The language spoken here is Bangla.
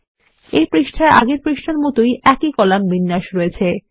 এই পৃষ্ঠায় আগের পৃষ্ঠার মত একই কলাম বিন্যাস রয়েছে